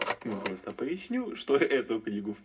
мы просто пояснил что эту книгу